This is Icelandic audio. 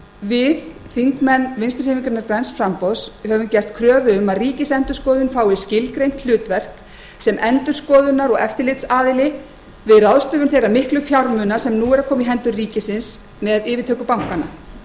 við þingmenn vinstri hreyfingarinnar græns framboðs höfum gert kröfu um að ríkisendurskoðun fái skilgreint hlutverk sem endurskoðunar og eftirlitsaðili við ráðstöfun þeirra miklu fjármuna sem nú eru að koma í hendur ríkisins með yfirtöku bankanna